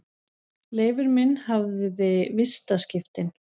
Leifur minn hafði vistaskiptin.